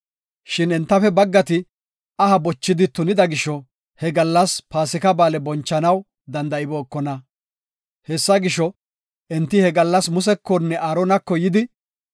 Shin entafe baggati aha bochidi tunida gisho he gallas Paasika Ba7aale bonchanaw danda7ibookona. Hessa gisho, enti he gallas Musekonne Aaronako yidi,